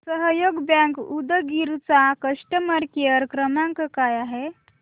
सहयोग बँक उदगीर चा customer care क्रमांक काय आहे